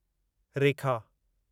रेखा